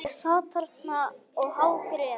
Ég sat þarna og hágrét.